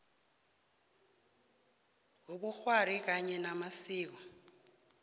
wobukghwari kanye namasiko